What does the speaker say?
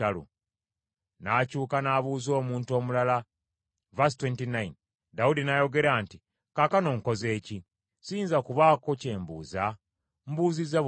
Dawudi n’ayogera nti, “Kaakano nkoze ki? Siyinza kubaako kye mbuuza? Mbuuzizza bubuuza.”